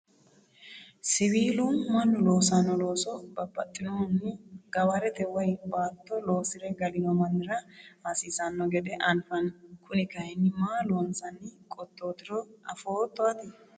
siwiilu mannu loosanno looso baxxinohunni gawarete woyi baatto loosire galino mannira hasiisanno gede anfanni, kuni kayiinni maa loonsanni qottootiro afootto ati?